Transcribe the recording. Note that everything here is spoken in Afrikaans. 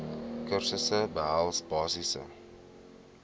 kursusse behels basiese